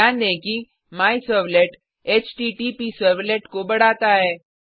ध्यान दें कि मायसर्वलेट हॉटप्सर्वलेट को बढ़ाता है